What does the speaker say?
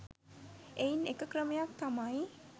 එයින් එක ක්‍රමයක් තමයි